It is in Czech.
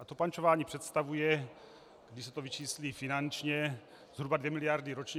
A to pančování představuje, když se to vyčíslí finančně, zhruba dvě miliardy ročně.